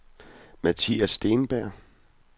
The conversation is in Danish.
Mathias Steenberg